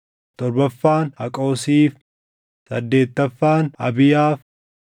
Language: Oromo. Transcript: torbaffaan Haqoosiif, saddeettaffaan Abiyaaf,